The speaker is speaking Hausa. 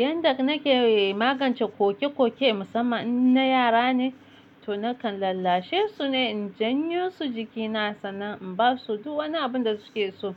Yanda nake magance ƙoƙe-ƙoƙe musamman in na yara ne, to nakan lallashe su ne, in janyo su jiki na sannan in basu duk wani abun da suke so.